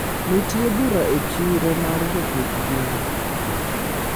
Ntiere bura e chire mar jopidh gwen